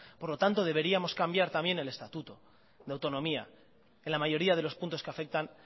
por lo tanto deberíamos cambiar también el estatuto de autonomía en la mayoría de los puntos que afectan